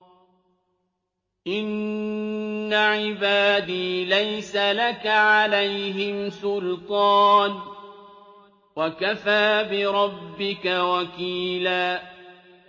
إِنَّ عِبَادِي لَيْسَ لَكَ عَلَيْهِمْ سُلْطَانٌ ۚ وَكَفَىٰ بِرَبِّكَ وَكِيلًا